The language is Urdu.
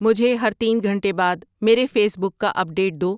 مجھے ہر تین گھنٹے بعد میرے فیس بک کا اپ ڈیٹ دو